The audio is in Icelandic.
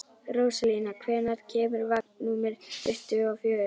Rósalía, hvenær kemur vagn númer tuttugu og fjögur?